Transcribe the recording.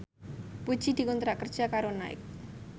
Puji dikontrak kerja karo Nike